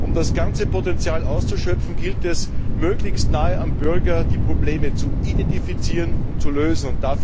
Um das ganze Potenzial auszuschöpfen, gilt es, möglichst nahe am Bürger die Probleme zu identifizieren und zu lösen.